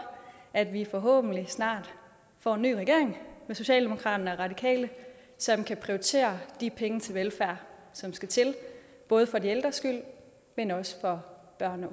at vi forhåbentlig snart får en ny regering med socialdemokraterne og de radikale som kan prioritere de penge til velfærd som skal til både for de ældres skyld men også for børn